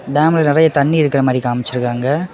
டேம்ல நெறைய தண்ணி இருக்கிற மாறி காமிச்சிருக்காங்க.